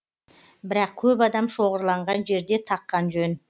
бірақ көп адам шоғырланған жерде таққан жөн